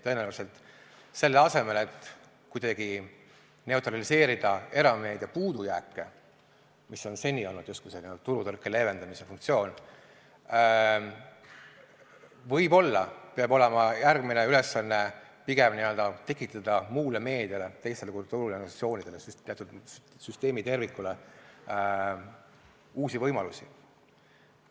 Tõenäoliselt selle asemel, et kuidagi neutraliseerida erameedia puudujääke, mis on seni olnud justkui selline turutõrke leevendamise funktsioon, peab järgmine ülesanne olema võib-olla pigem n-ö tekitada muule meediale, teistele kultuuriorganisatsioonidele, teatud süsteemitervikule uusi võimalusi.